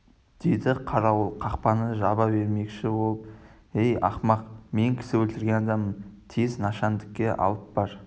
деді қарауыл қақпаны жаба бермекші болып ей ақымақ мен кісі өлтірген адаммын тез нашандікке алып бар